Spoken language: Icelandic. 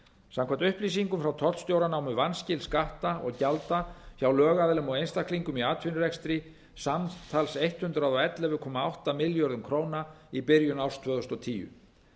samkvæmt upplýsingum frá tollstjóra námu vanskil skatta og gjalda hjá lögaðilum og einstaklingum í atvinnurekstri samtals hundrað og ellefu komma átta milljörðum króna í byrjun árs tvö þúsund og tíu